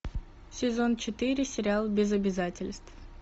сезон четыре сериал без обязательств